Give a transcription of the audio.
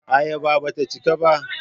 Ayaba ba ta cika ba.